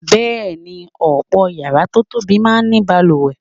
Bẹ́ẹ̀ ni, ọ̀pọ̀ yàrá tó tóbi máa ń ní balùwẹ̀.